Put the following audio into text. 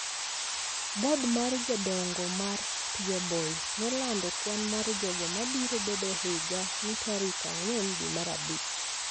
Bod mar Jodongo mag Peabody nolando kwan mar jogo ma biro bedo e higa ni tarik ang'wen dwe mar Abich,